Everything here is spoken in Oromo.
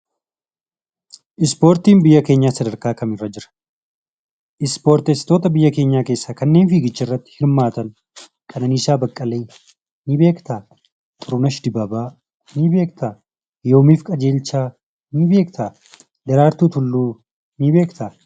Ispoortiin biyya keenyaa sadarkaa kamirra jira? Ispoortessitoota biyya keenyaa keessaa kanneen fiigicharratti hirmaatan Qananiisaa Beqqelee nii beektaa? Xurunesh Dibaabaa nii beektaa? Yoomif Qajeelchaa nii beektaa? Daraartuu Tulluu nii beektaa?